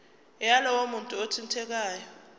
yalowo muntu othintekayo